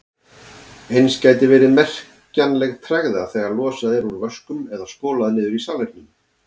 Eins gæti verið merkjanleg tregða þegar losað er úr vöskum eða skolað niður í salernum.